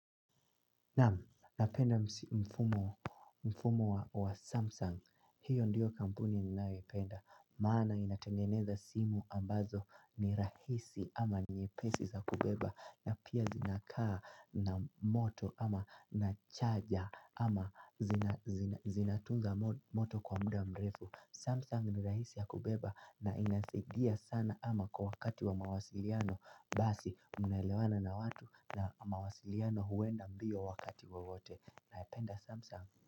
Napenda mfumo wa Samsung, hiyo ndiyo kampuni ninayoipenda. Maana inatengeneza simu ambazo ni rahisi ama nyepesi za kubeba. Na pia zinakaa na moto ama na charger ama zinatunga moto kwa muda mrefu Samsung ni rahisi ya kubeba na inasadia sana ama kwa wakati wa mawasiliano. Basi mnaelewana na watu na mawasiliano huenda mbio wakati wowote. Naipenda samsang.